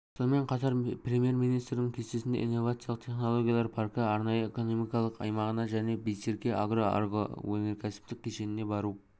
сонымен қатар премьер-министрдің кестесінде инновациялық технологиялар паркі арнайы экономикалық аймағына және байсерке агро агроөнеркәсіптік кешеніне бару